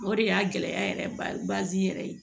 O de y'a gɛlɛya yɛrɛ bazɛrɛ ye